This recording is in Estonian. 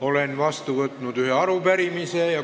Olen vastu võtnud ühe arupärimise.